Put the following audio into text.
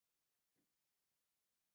ስራሕ ብሓቂ ሕብረት የድልዮ ድዩ?